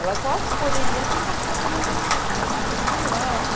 Ela só poderia ter encaixado numa numa coisa melhor, né?